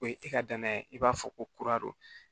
O ye e ka danaya i b'a fɔ ko kura don